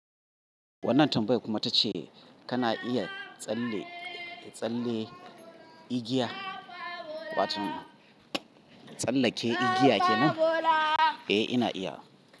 Wannan tambaya kuma tace kana iya tsalle, tsallen igiya? Wato tsallake igiya kenan? Eh ina iyawa.